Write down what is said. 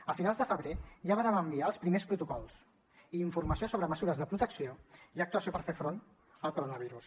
a finals de febrer ja vàrem enviar els primers protocols i informació sobre mesures de protecció i actuació per fer front al coronavirus